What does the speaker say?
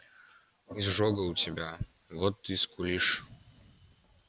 изжога у тебя вот ты и скулишь